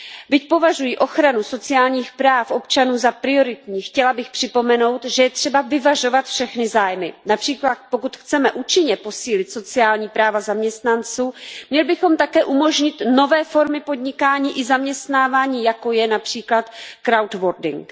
Byť považuji ochranu sociálních práv občanů za prioritní, chtěla bych připomenout, že je třeba vyvažovat všechny zájmy, například pokud chceme účinně posílit sociální práva zaměstnanců, měli bychom také umožnit nové formy podnikání i zaměstnávání, jako je například crowdworking